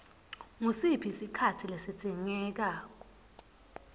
ngusiphi sikhatsi lesidzingeka